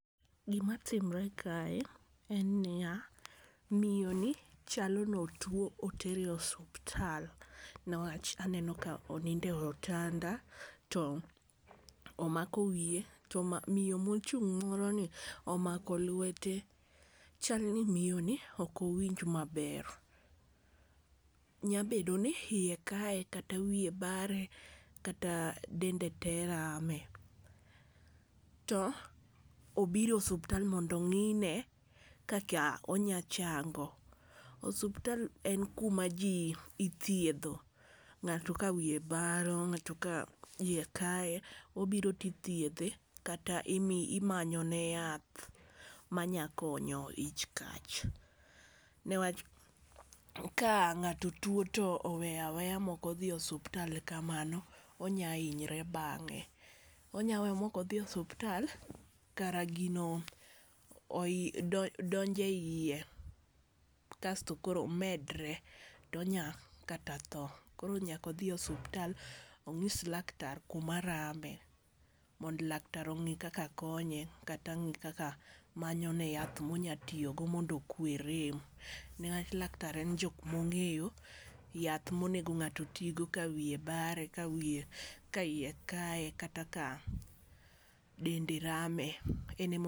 Gima timre kae en niya, miyo ni chalo no otuo otere osuptal. Newach aneno ka onindo e otanda to omako wiye to miyo mochung' moro ni omako lwete. Chal ni miyo ni ok owinj maber. Nyabedo ni iye kaye kata wiye bare kata dende te rame. To obiro osuptal mondo ong'ine kaka onya chango. Osuptal en kuma ji ithiedho ng'ato ka wiye baro ng'ato ka iye kaye obiro to ithiedhe kata imanyo ne yath manya konyo ich kach. Newach ka ng'ato tuo oweya weya mok odhi osuptal kamano onya hinye bange. Onya we mok odhi osuptal kare gino donjo e yie kasto koro medre to onyal kata tho. Koro nyaka odhi osuptal onyis laktar kuma rame mondo laktar ong'i kaka konye kata ong'i kaka manyo ne yath monya tiyogo mondo okwe rem niwach laktar en jok mong'eyo yath monego ng'ato oti go ka wiye bare ka iye kaye kata ka dende rame.